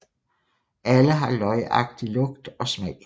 Alle har løgagtig lugt og smag